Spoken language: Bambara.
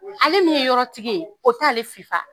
Ale min ye yɔrɔ tigi ye o t'ale fifa.